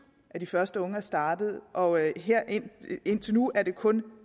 at de første unge startede og indtil nu er det kun